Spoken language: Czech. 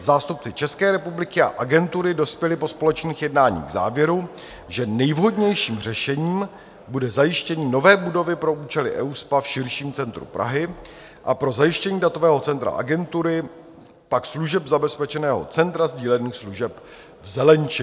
Zástupci České republiky a agentury dospěli po společných jednáních k závěru, že nejvhodnějším řešením bude zajištění nové budovy pro účely EUSPA v širším centru Prahy a pro zajištění datového centra agentury pak služeb zabezpečeného Centra sdílených služeb v Zelenči.